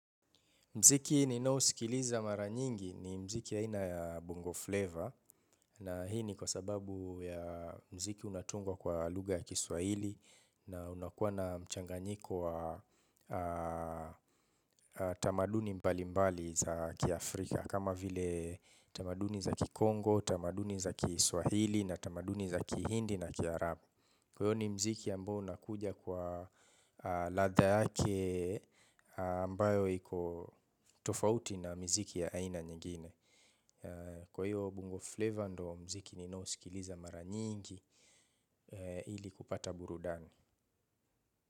Mziki ninaosikiliza mara nyingi ni mziki aina ya Bongo Flavor na hii ni kwa sababu ya mziki unatungwa kwa lugha ya kiswahili na unakuwa na mchanganyiko wa tamaduni mbali mbali za kia Afrika kama vile tamaduni za kikongo, tamaduni za kiswahili na tamaduni za kihindi na kiarabu. Kwa hiyo ni mziki ambayo unakuja kwa ladha yake ambayo iko tofauti na mziki ya aina nyingine. Kwa hiyo bongo flavor ndo mziki nino sikiliza mara nyingi ili kupata burudani.